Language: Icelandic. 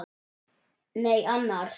Nei annars.